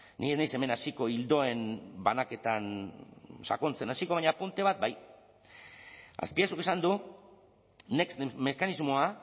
ni ez naiz hemen hasiko ildoen banaketan sakontzen hasiko baina apunte bat bai azpiazuk esan du next mekanismoa